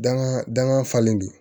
Danga dangan falen do